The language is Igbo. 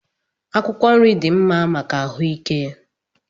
Akwụkwọ nri dị mma maka ahụike